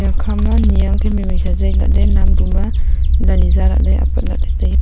eya khama ni ang khe mai mai sa zing lah ley nam pu ma zali za lah ley apat ley tai ley.